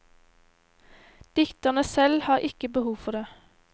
Dikterne selv har ikke behov for det.